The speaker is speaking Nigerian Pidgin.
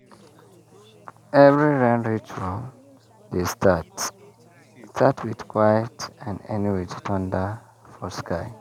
every rain ritual dey start start with quiet and end with thunder for sky.